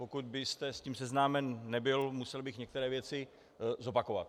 Pokud byste s tím seznámen nebyl, musel bych některé věci zopakovat.